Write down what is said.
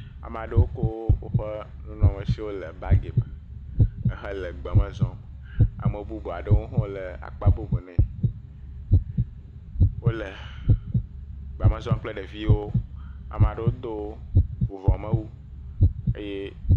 Ame aɖewo kɔ woƒe nunɔamesiwo le bagi me ehele gbeme zɔm. Ame bubu aɖewo hã le akpa bubune. Wole egbea me zɔm kple ɖeviwo. Ame aɖewo do vuvɔ me wu eye…